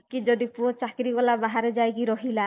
କି ଯଦି ପୁଅ ଚାକିରୀ କଲା ବାହାରେ ଯାଇ ରହିଲା